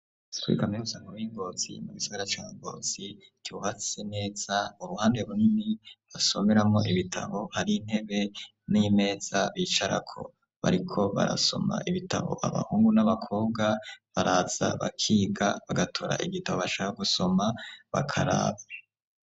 Kuri kaminuza nkuru yi Ngozi mu gisagara ca Ngozi ryubatse neza uruhande runini basomeramwo ibitabo hari intebe n'imeza bicarako bariko barasoma ibitabo abahungu n'abakobwa baraza bakiga bagatora igitabo bashaka gusoma bakaraba.